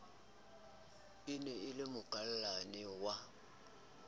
e na le mokakallane wa